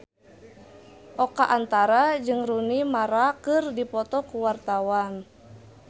Oka Antara jeung Rooney Mara keur dipoto ku wartawan